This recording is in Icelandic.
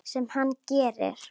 Sem hann gerir.